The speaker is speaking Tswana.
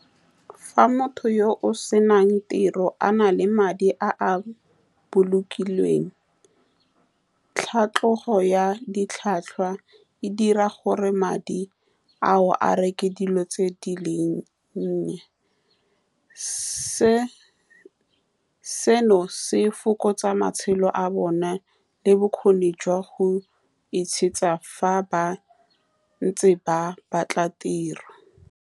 Fa motho yoo senang tiro a na le madi a a bolokilweng, tlhatlhogo ya ditlhwatlhwa e dira gore madi ao a reke dilo tse di leng nnye se. Seno se fokotsa matshelo a bone le bokgoni jwa go itshegetsa fa ba ntse ba batla tiro.